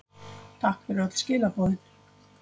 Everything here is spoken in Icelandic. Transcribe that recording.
Takk fyrir öll skilaboðin.